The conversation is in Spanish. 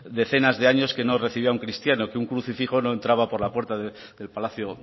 decenas de años que no recibía a un cristiano que un crucifijo no entraba por la puerta del palacio